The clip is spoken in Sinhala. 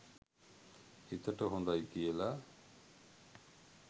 හිතට හොඳයි කියලා